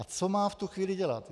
A co má v tu chvíli dělat?